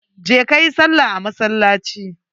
Je ka yi salla a masallaci.